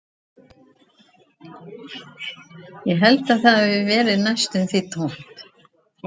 Ég held að það hafi verið næstum því tómt